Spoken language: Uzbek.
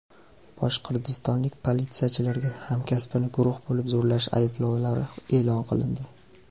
Boshqirdistonlik politsiyachilarga hamkasbini guruh bo‘lib zo‘rlash ayblovlari e’lon qilindi.